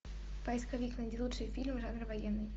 поисковик найди лучшие фильмы жанра военный